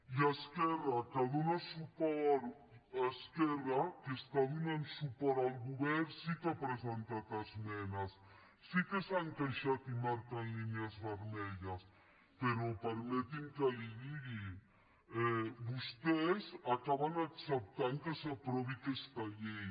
i esquerra que dóna suport esquerra que està donant suport al govern sí que ha presentat esmenes sí que s’han queixat i marquen línies vermelles però permeti’m que li digui vostès acaben acceptant que s’aprovi aquesta llei